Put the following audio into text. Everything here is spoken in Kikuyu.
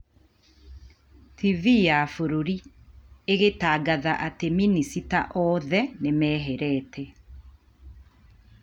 TV ya bũrũri ĩgĩtangatha atĩ minicita othe nĩ meherete.